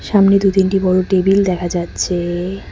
সামনে দু তিনটি বড়ো টেবিল দেখা যাচ্ছে।